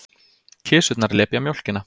Kisurnar lepja mjólkina.